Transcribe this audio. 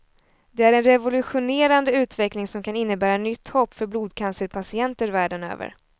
Det är en revolutionerande utveckling som kan innebära nytt hopp för blodcancerpatienter världen över.